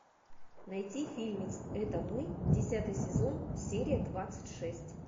найти фильмец это мы десятый сезон серия двадцать шесть